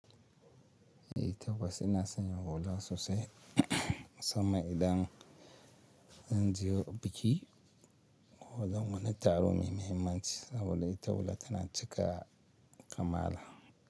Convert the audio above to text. Eh tabbas ina son yin hula sosai sama idan zan je biki ko wani taro mai mahimmanci saboda ita hula tana cika kamala.